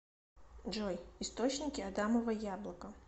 джой источники адамово яблоко